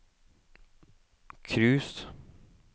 cruise